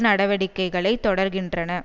நடவடிக்கைகளை தொடர்கின்றன